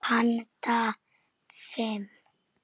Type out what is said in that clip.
Handa fimm